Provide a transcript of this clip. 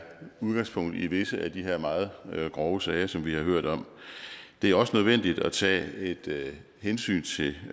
udgangspunktet i visse af de her meget grove sager som vi har hørt om det er også nødvendigt at tage et hensyn til